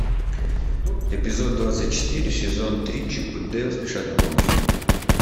эпизод двадцать четыре сезон три чип и дейл спешат на помощь